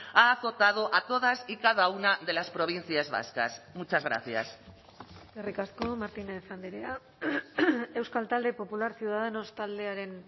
ha azotado a todas y cada una de las provincias vascas muchas gracias eskerrik asko martínez andrea euskal talde popular ciudadanos taldearen